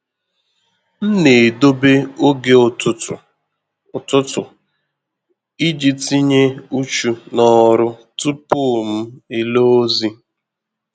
M na-edobe ògè ụtụtu ụtụtu iji tinye uchu ná òrụ́ tupu m ele ozi.